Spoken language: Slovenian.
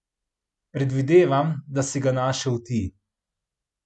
Predvidevam, da si ga našel ti.